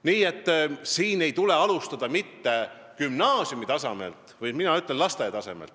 Nii et ei tule alustada mitte gümnaasiumitasemelt, vaid lasteaiatasemelt.